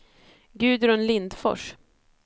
Gudrun Lindfors